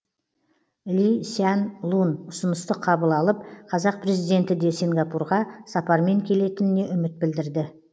ли сян лун ұсынысты қабыл алып қазақ президенті де сингапурға сапармен келетініне үміт білдірді